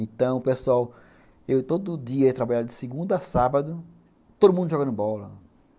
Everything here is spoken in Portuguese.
Então, pessoal, eu todo dia ia trabalhar de segunda a sábado, todo mundo jogando bola.